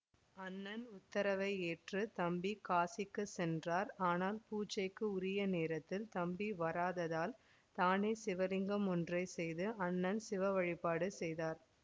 அண்ணன் உத்தரவை ஏற்று தம்பி காசிக்கு சென்றார் ஆனால் பூஜைக்கு உரிய நேரத்தில் தம்பி வராததால் தானே சிவலிங்கம் ஒன்றை செய்து அண்ணன் சிவவழிபாடு செய்தார்